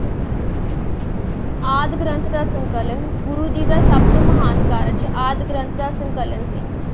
ਆਦਿ ਗ੍ਰੰਥ ਦਾ ਸੰਕਲਨ ਗੁਰੂ ਜੀ ਦਾ ਸਭ ਤੋਂ ਮਹਾਨ ਕਾਰਜ ਆਦਿ ਗ੍ਰੰਥ ਦਾ ਸੰਕਲਨ ਸੀ।